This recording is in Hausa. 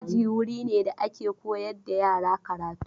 Aji wuri ne da ake koyar da yara karatu.